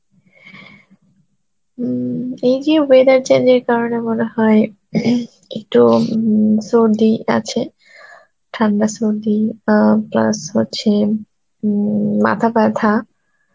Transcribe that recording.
উম এই যে weather change এর কারণে মনে হয় একটু উম সর্দি আছে, ঠান্ডা সর্দি অ্যাঁ plus হচ্ছে উম মাথা ব্যথা.